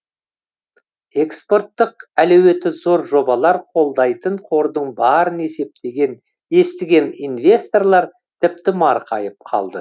экспорттық әлеуеті зор жобалар қолдайтын қордың барын естіген инвесторлар тіпті марқайып қалды